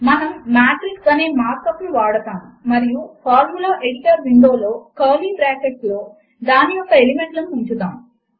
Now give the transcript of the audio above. మనము మాట్రిక్స్ అనే markup ను వాడతాము మరియు ఫార్ములా ఎడిటర్ విండో లో కర్లీ బ్రాకెట్లలో దాని యొక్క ఎలిమెంట్ లను ఉంచుతాము